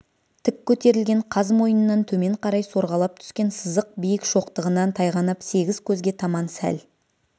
тік көтерілген қаз мойыннан төмен қарай сорғалап түскен сызық биік шоқтығынан тайғанап сегіз көзге таман сәл